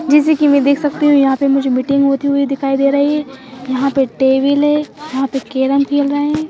जैसे कि मैं देख सकती हूँ यहाँ पे मुझे मीटिंग होती हुई दिखाई दे रही ए यहाँ पे टेबिल है यहाँ पे केरम खेल रहे हैं।